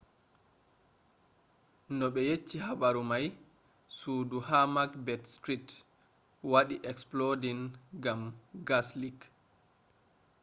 no ɓe yecci habaru mai sudu ha macbeth street wadi exploding gam gas leak